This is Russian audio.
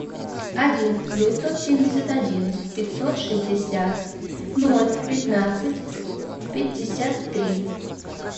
один девятьсот семьдесят один пятьсот шестьдесят ноль пятнадцать пятьдесят три